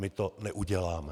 My to neuděláme.